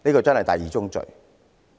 這是第二宗罪。